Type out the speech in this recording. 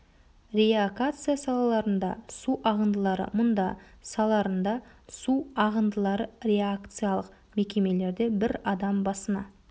реакация саларында су ағындылары мұнда саларында су ағындылары реакциялық мекемелерде бір адам басына